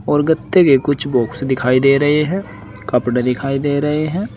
और गत्ते के कुछ बॉक्स दिखाई दे रहे हैं कपड़े दिखाई दे रहे हैं।